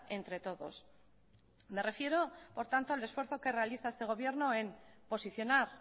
entre todos me refiero por tanto al esfuerzo que realiza este gobierno en posicionar